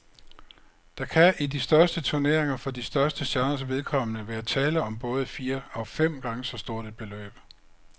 Der kan i de største turneringer for de største stjerners vedkommende være tale om både fire og fem gange så stort et beløb.